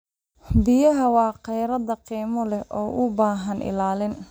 Biyaha waa kheyraad qiimo leh oo u baahan ilaalin.